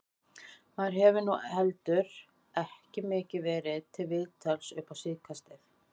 Maður hefur nú heldur ekki mikið verið til viðtals upp á síðkastið.